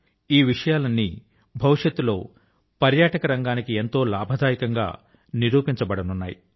ఈ విషయాలన్నీ భవిష్యత్తు లో పర్యాటక రంగాని కి ఎంతో లాభదాయకం గా నిరూపించ బడనున్నాయి